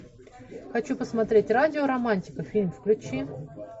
хочу посмотреть радио романтика фильм включи